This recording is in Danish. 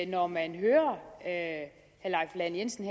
når man hører herre leif lahn jensen